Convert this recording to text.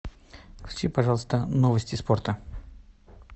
включи пожалуйста новости спорта